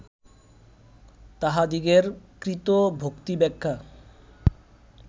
তাঁহাদিগের কৃত ভক্তিব্যাখ্যা